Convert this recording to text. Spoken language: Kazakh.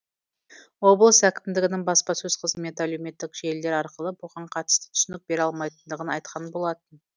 облыс әкімдігінің баспасөз қызметі әлеуметтік желілер арқылы бұған қатысты түсінік бере алмайтындығын айтқан болатын